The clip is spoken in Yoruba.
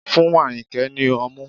Fún Ayinke ni ọmú